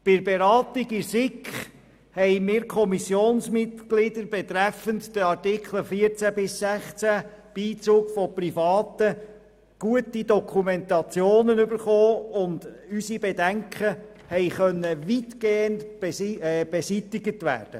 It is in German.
Bei der Beratung in der SiK erhielten wir Kommissionmitglieder gute Dokumentationen betreffend die Artikel 14 bis 16, Beizug von Privaten, und unsere Bedenken konnten weitgehend beseitigt werden.